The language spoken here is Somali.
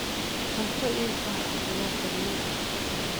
Cunto ii gaar ah ayaan kariyey.